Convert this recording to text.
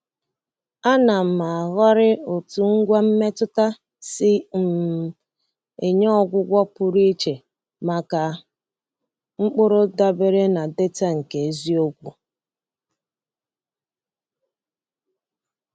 A na m ahọrị otú ngwa mmetụta si um enye ọgwụgwọ pụrụ iche maka mkpụrụ dabere na data nke eziokwu.